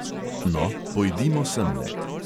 No, pojdimo semle.